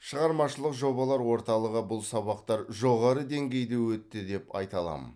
шығармашылық жобалар орталығы бұл сабақтар жоғары деңгейде өтті деп айта аламын